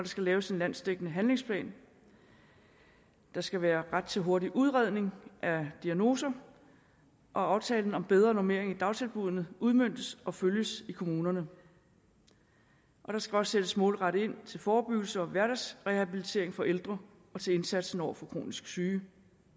skal laves en landsdækkende handlingsplan der skal være ret til hurtig udredning af diagnoser og aftalen om bedre normering i dagtilbuddene udmøntes og følges i kommunerne der skal også sættes målrettet ind til forebyggelse og hverdagsrehabilitering for ældre og til indsatsen over for kronisk syge